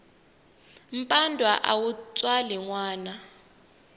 mpandwa a wu tswali nwana